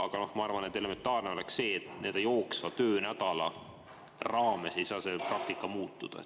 Ma arvan, et elementaarne oleks see, et jooksva töönädala raames ei saa see praktika muutuda.